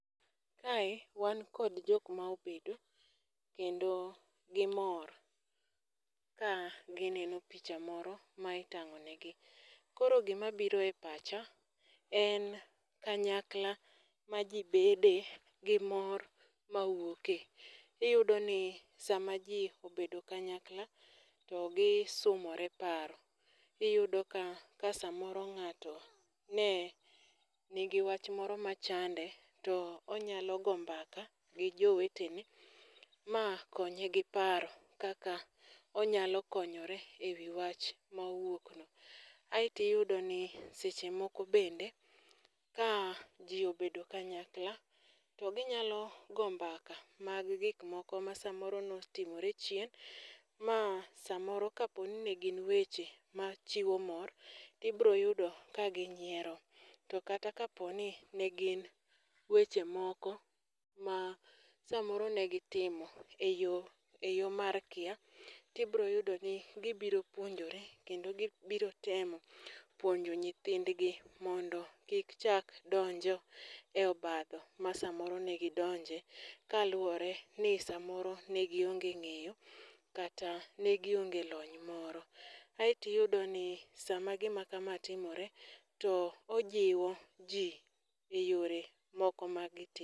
Kae wan kod jok ma obedo, kendo gimor. Ka gineno picha moro ma itang'onegi. Koro gima biro e pacha en kanyakla ma ji bede gi mor mawuoke. Iyudo ni sama ji obedo kanyala to gisomore paro. Iyudo ka, ka samoro ng'ato ne nigi wach moro machande to onyalo go mbaka gi jowetene ma konya gi paro kaka onyalo konyore ewi wach ma owuok no. Aeto iyudo ni seche moko bende ja ji obedo kanyakla to ginya go mbaka mag gik moko ma samoro ne otimore chien ma samoro ka po ni ne gin weche machiwo mor to ibiro yudo ka nyiero. To kata ka po ni nen gin weche moko ma samoro negitimo e yo, e yo mar kia, tibiro yudo ni gibiro puonjore kendo gibiro temo puonjo nyithindgi mondo kik chak donjo e obadho ma samoro nagidonje kaluwore ni samoro ne goinge ng'enyo, kata ne gionge lony moro. Aeto iyudo ni sama gima kama timore to ojiwo ji e yore moko mag